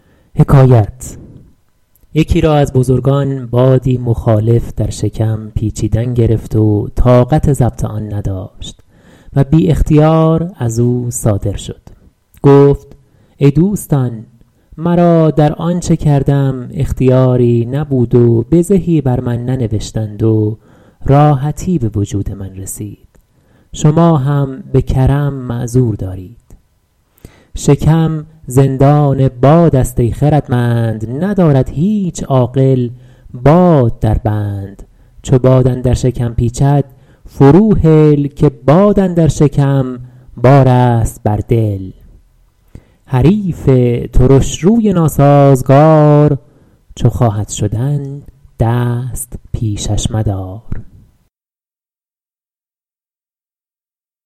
یکی را از بزرگان بادی مخالف در شکم پیچیدن گرفت و طاقت ضبط آن نداشت و بی اختیار از او صادر شد گفت ای دوستان مرا در آنچه کردم اختیاری نبود و بزهی بر من ننوشتند و راحتی به وجود من رسید شما هم به کرم معذور دارید شکم زندان باد است ای خردمند ندارد هیچ عاقل باد در بند چو باد اندر شکم پیچد فرو هل که باد اندر شکم بار است بر دل حریف ترشروی ناسازگار چو خواهد شدن دست پیشش مدار